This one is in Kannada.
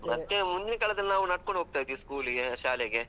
ಮತ್ತೆ, ಮುಂದಿನ್ ಕಾಲದಲ್ಲಿ ನಾವು ನಡ್ಕೊಂಡು ಹೋಗ್ತಾ ಇದ್ವಿ school ಗೆ ಶಾಲೆಗೆ.